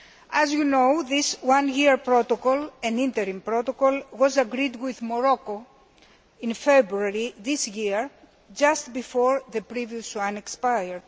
As you know, this one year protocol an interim protocol was agreed with Morocco in February this year, just before the previous one expired.